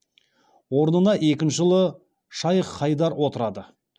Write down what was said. орнына екінші ұлы шайх хайдар отырады